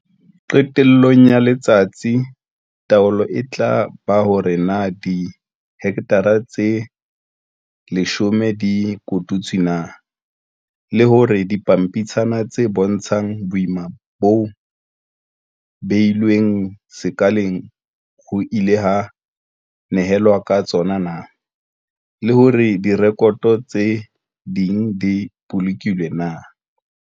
Qetellong ya letsatsi taolo e tla ba hore na dihekthara tse 10 di kotutswe na, le hore dipampitshana tse bontshang boima bo beilweng sekaleng ho ile ha nehelanwa ka tsona na, le hore direkoto tse ding di bolokilwe na.